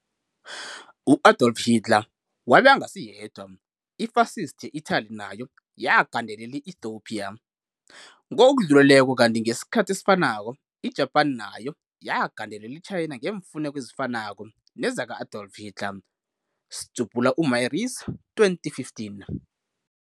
U-Adolf Hitler wabe angasiyedwa, i-Fascist ye-Itally nayo yagandelela i-Ethiopia, ngokudluleleko kanti ngesikhathi esifanako i-Japan nayo yagandela i-China ngeemfuneko ezifanako nezaka-Adolf Hilter, Myrice 2015.